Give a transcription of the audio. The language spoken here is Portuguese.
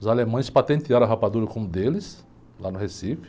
Os alemães patentearam a rapadura como deles, lá no Recife.